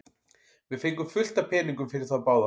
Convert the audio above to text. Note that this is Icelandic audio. Við fengum fullt af peningum fyrir þá báða.